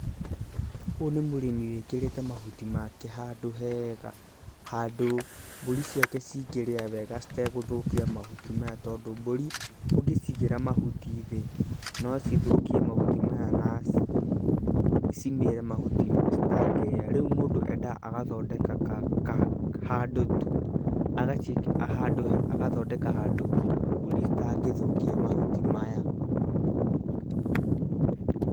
Ũyũ nĩ mũrĩmi wĩkĩrĩte mahuti make handũ hega, handũ mbũri ciake cingĩrĩa wega citegũthũkia mahuti maya tondũ mbũri ũngĩcigira mahuti thĩ no cithũkie mahuti maya na cimĩĩre mahuti citangĩrĩa. Rĩu endaga agathondeka handũ tu, agathondeka handũ mbũri itangĩthũkia mahuti maya.